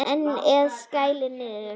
Ennið skellur niður.